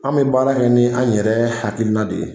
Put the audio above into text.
An bɛ baara kɛ ni an yɛrɛ hakilina de ye